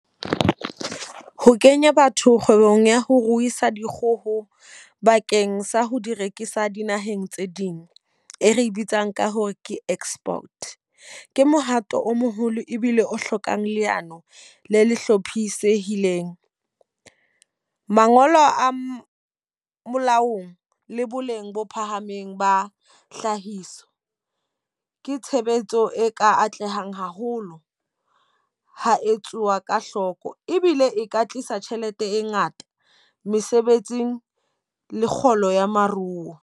Ho kenya batho kgwebong ya ho ruisa dikgoho bakeng sa ho di rekisa dinaheng tse ding. E re bitsang ka hore ke export. Ke mohato o moholo ebile o hlokang leano le le hlophisehileng. Mangolo a molaong le boleng bo phahameng ba hlahiso. Ke tshebetso e ka atlehang haholo ha etsuwa ka hloko. Ebile e ka tlisa tjhelete e ngata, mesebetsi, le kgolo ya maruo.